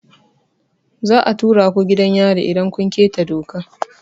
Za a tura ku gidan yari idan kun keta doka.